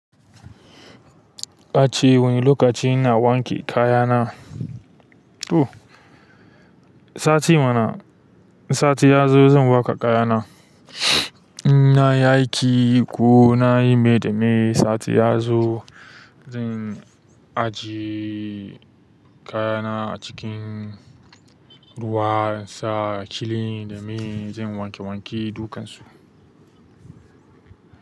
Ka ce wane lokaci na wanke kayana? Ooh, sati mana, sati ya zo zan waƙa kayana. In na yi aiki ko na yi me da me sati ya zo zan ajiye kayana a cikin ruwan sa, cilin, da me, zan wanke wanke dukkansu.